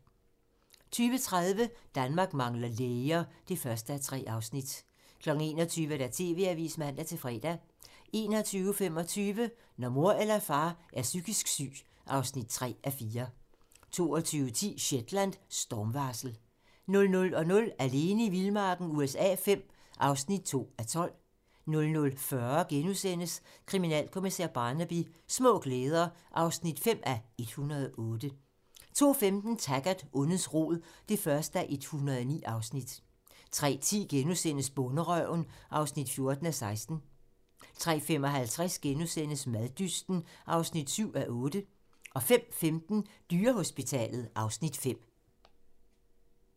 20:30: Danmark mangler læger (1:3) 21:00: TV-avisen (man-fre) 21:25: Når mor eller far er psykisk syg (3:4) 22:10: Shetland: Stormvarsel 00:00: Alene i vildmarken USA V (2:12) 00:40: Kriminalkommissær Barnaby: Små glæder (5:108)* 02:15: Taggart: Ondets rod (1:109) 03:10: Bonderøven (14:16)* 03:55: Maddysten (7:8)* 05:15: Dyrehospitalet (Afs. 5)